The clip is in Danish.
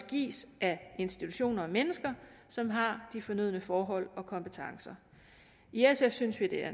gives af institutioner og mennesker som har de fornødne forhold og kompetencer i sf synes vi det er